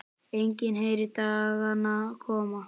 Enginn heyrir dagana koma.